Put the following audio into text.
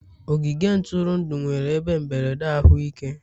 ogige ntụrụndụ nwere ebe mberede ahụike.